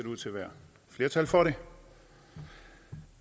ud til at være flertal for det